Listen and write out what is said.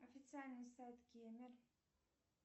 официальный сайт кемер